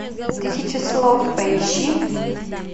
тысяча слов поищи